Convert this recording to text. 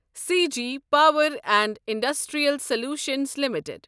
Sag Power and Industrial Solutions limited